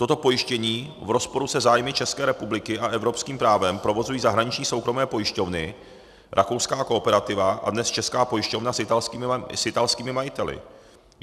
Toto pojištění v rozporu se zájmy České republiky a evropským právem provozují zahraniční soukromé pojišťovny, rakouská Kooperativa a dnes Česká pojišťovna s italskými majiteli.